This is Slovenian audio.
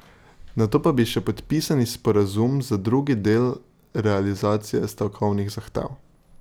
Nato pa bi še podpisali sporazum za drugi del realizacije stavkovnih zahtev.